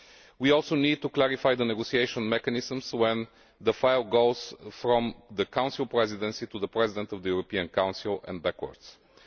We also need to clarify the negotiating mechanisms when the file goes from the Council Presidency to the President of the European Council and vice